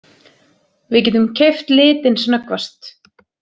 Við getum keypt litinn snöggvast!